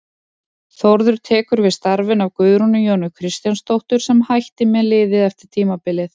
Þórður tekur við starfinu af Guðrúnu Jónu Kristjánsdóttur sem hætti með liðið eftir tímabilið.